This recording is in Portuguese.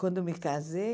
Quando me casei...